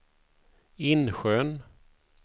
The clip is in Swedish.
Insjön